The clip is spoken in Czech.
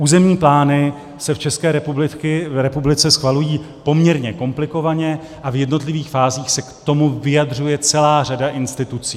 Územní plány se v České republice schvalují poměrně komplikovaně a v jednotlivých fázích se k tomu vyjadřuje celá řada institucí.